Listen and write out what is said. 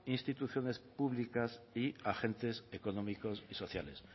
instituciones públicas y agentes económicos y sociales